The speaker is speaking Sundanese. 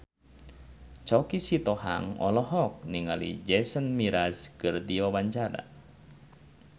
Choky Sitohang olohok ningali Jason Mraz keur diwawancara